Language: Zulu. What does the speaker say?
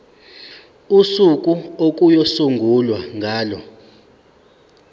usuku okuyosungulwa ngalo